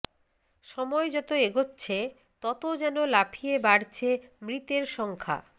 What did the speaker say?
সময় যত এগোচ্ছে তত যেন লাফিয়ে বাড়ছে মৃতের সংখ্যা